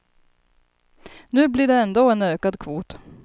Nu blir det ändå en ökad kvot.